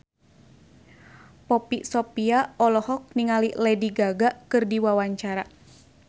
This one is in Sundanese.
Poppy Sovia olohok ningali Lady Gaga keur diwawancara